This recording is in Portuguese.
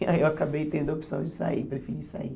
E aí eu acabei tendo a opção de sair, preferi sair.